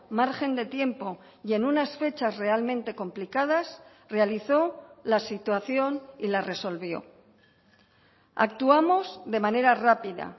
margen de tiempo y en unas fechas realmente complicadas realizó la situación y la resolvió actuamos de manera rápida